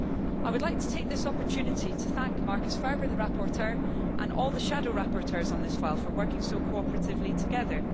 I would like to take this opportunity to thank Marcus Ferber, the rapporteur, and all the shadow rapporteurs for working so cooperatively together.